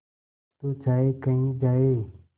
तू चाहे कही जाए